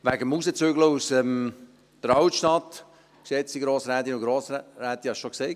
Wegen des Wegzügelns aus der Altstadt, geschätzte Grossrätinnen und Grossräte, habe ich es schon gesagt: